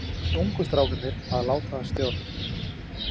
Hvernig eru ungu strákarnir að láta að stjórn?